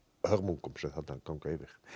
hörmungum sem þarna ganga yfir